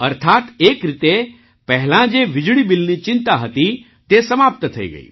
અર્થાત્ એક રીતે પહેલાં જે વીજળી બિલની ચિંતા હતી તે સમાપ્ત થઈ ગઈ